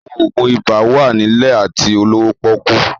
Àwọn òògùn ibà wà nílẹ̀ àti olówó pọ́ọ́kú